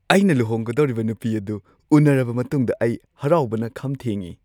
ꯑꯩꯅ ꯂꯨꯍꯣꯡꯒꯗꯧꯔꯤꯕ ꯅꯨꯄꯤ ꯑꯗꯨ ꯎꯅꯔꯕ ꯃꯇꯨꯡꯗ ꯑꯩ ꯍꯔꯥꯎꯕꯅ ꯈꯝ ꯊꯦꯡꯉꯦ꯫